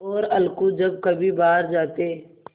और अलगू जब कभी बाहर जाते